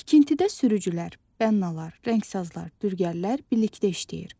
Tikintidə sürücülər, bənnlar, rəngsazlar, dülgərlər birlikdə işləyir.